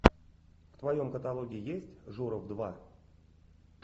в твоем каталоге есть журов два